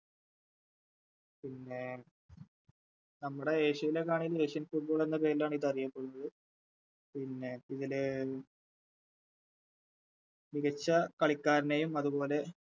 പിന്നെ നമ്മുടെ ഏഷ്യയിലൊക്കെ ആണേലും Asian football എന്നപേരിലാണിതറിയപ്പെടുന്നത് പിന്നെ ഇതിലെ മികച്ച കളിക്കാരനെയും അതുപോലെ